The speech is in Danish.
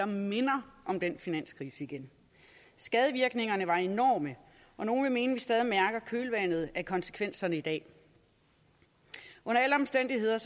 minder om den finanskrise igen skadevirkningerne var enorme og nogle vil mene at vi stadig mærker kølvandet af konsekvenserne i dag under alle omstændigheder